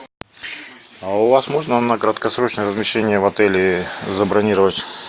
а у вас можно на краткосрочное размещение в отеле забронировать